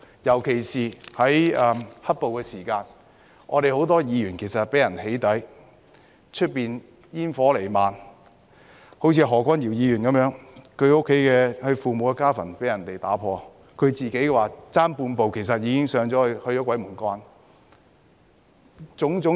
尤其是在"黑暴"期間，我們很多議員被人"起底"，外面煙火彌漫，以何君堯議員為例，他父母的家墳被人破壞，他自己差半步去了鬼門關。